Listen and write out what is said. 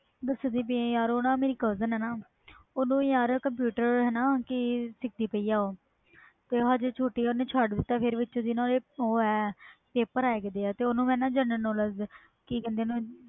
ਦਸ ਦੀ ਪਈ ਯਾਰ ਮੇਰੀ ਓਹਨੂੰ cousin ਯਾਰ computer ਸਿੱਖ ਦੀ ਪਈ ਤੇ ਛੋਟੀ ਓਹਨੇ ਛੱਡ ਤਾ ਪਰ ਵਿੱਚੋ ਜੇ paper ਹੈ ਗਏ ਦੇ ਆ ਮੈਂ ਓਹਨੂੰ general knowledge ਓਹਨੂੰ ਕਿ ਕਹਿੰਦੇ ਆ